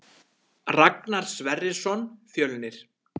Ragnar Sverrisson Fjölnir